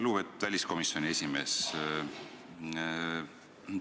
Lugupeetud väliskomisjoni esimees!